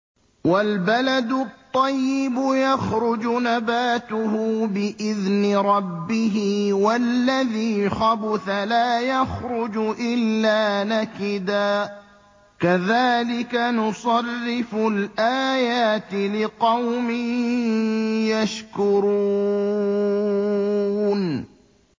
وَالْبَلَدُ الطَّيِّبُ يَخْرُجُ نَبَاتُهُ بِإِذْنِ رَبِّهِ ۖ وَالَّذِي خَبُثَ لَا يَخْرُجُ إِلَّا نَكِدًا ۚ كَذَٰلِكَ نُصَرِّفُ الْآيَاتِ لِقَوْمٍ يَشْكُرُونَ